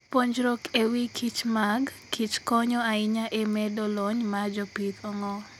Puonjruok e wi kichmag kichkonyo ahinya e medo lony mar jopith ong'or.